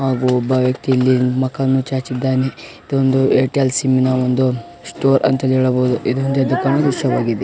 ಹಾಗು ಒಬ್ಬ ವ್ಯಕ್ತಿ ಇಲ್ಲಿ ಮೊಕವನ್ನು ಚಾಚಿದ್ದಾನೆ ಇದು ಒಂದು ಏರ್ಟೆಲ್ ಸಿಮ ನ ಒಂದು ಸ್ಟೋರ್ ಅಂತಾನೂ ಹೇಳಬಹುದು ಇದೊಂದು ಎದ್ದು ಕಾಣುವ ದೃಶ್ಯವಾಗಿದೆ .